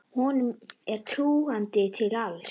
Honum er trúandi til alls.